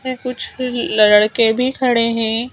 में कुछ लड़के भी खड़े हैं।